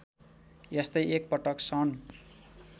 यस्तै एकपटक सन्